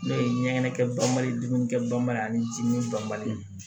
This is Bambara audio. N'o ye ɲɛgɛn kɛ banbali ye dumuni kɛ banba ye ani ji min banbali